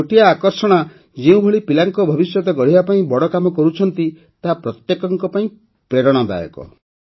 ଛୋଟିଆ ଆକର୍ଷଣା ଯେଉଁଭଳି ପିଲାଙ୍କ ଭବିଷ୍ୟତ ଗଢ଼ିବା ପାଇଁ ବଡ଼ କାମ କରୁଛନ୍ତି ତାହା ପ୍ରତ୍ୟେକଙ୍କ ପାଇଁ ପ୍ରେରଣାଦାୟକ